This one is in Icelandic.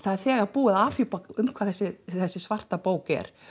þegar búið að afhjúpa um hvað þessi þessi svarta bók er